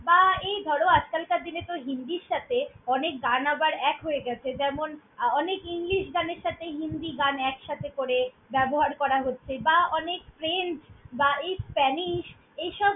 বা, এই ধরো আজকালকার দিনে তো হিন্দির সাথে অনেক গান আবার এক হয়ে গ্যাছে। যেমন, আ~ অনেক english গানের সাথে হিন্দি গান একসাথে করে ব্যবহার করা হচ্ছে বা অনেক french বা এই spanish এইসব।